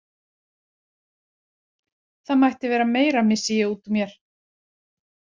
Það mætti vera meira, missi ég út úr mér.